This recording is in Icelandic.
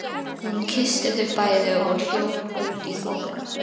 Hún kyssti þau bæði og hljóp út í þokuna.